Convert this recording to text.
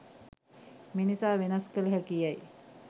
මිනිසා වෙනස් කළ හැකි යැයි